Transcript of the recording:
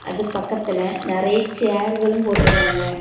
அது பக்கத்துல நிறைய சேர்களும் போட்டு இருக்காங்க.